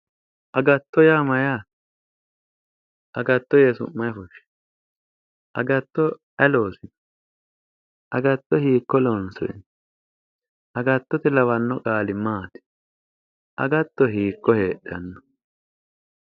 Agatto yaa mayyaate? agatto yee su'ma ayi fushshino? agatto ayi loosino? agatto hiikko loonsoyi? agattote lawanno qaali maati? agatto hiikko heedhanno?